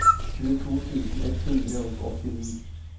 tjueto tusen ett hundre og åttini